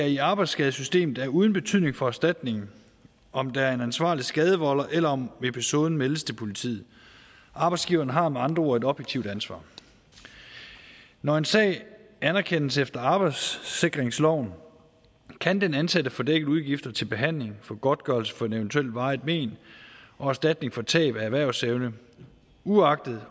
i arbejdsskadessystemet er uden betydning for erstatningen om der er en ansvarlig skadevolder eller om episoden meldes til politiet arbejdsgiverne har med andre ord et objektivt ansvar når en sag anerkendes efter arbejdssikringsloven kan den ansatte få dækket udgifter til behandling for godtgørelse for et eventuelt varigt men og erstatning for tab af erhvervsevne uagtet